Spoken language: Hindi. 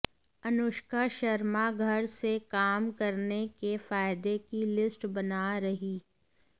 अनुष्का शर्मा घर से काम करने के फायदे की लिस्ट बना रहीं